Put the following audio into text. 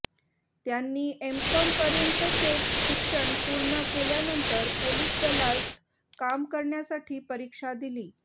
त्यांनी M Com पर्यंतचे शिक्षण पूर्ण केल्यानंतर पोलीस दलात काम करण्यासाठी परीक्षा दिली